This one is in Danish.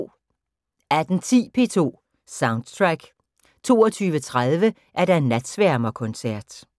18:10: P2 Soundtrack 22:30: Natsværmerkoncert